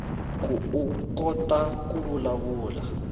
koukota ku vulavula